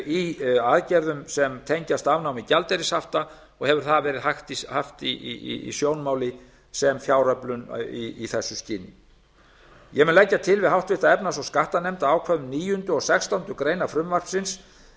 í aðgerðum sem tengjast afnámi gjaldeyrishafta og hefur það verið haft í sjónmáli sem fjáröflun í þessu skyni ég mun leggja til við háttvirta efnahags og skattanefnd að ákvæðum níunda og sextándu grein frumvarpsins